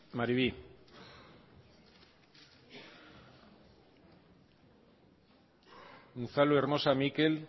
maribi unzalu hermosa mikel